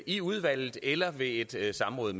i udvalget eller ved et et samråd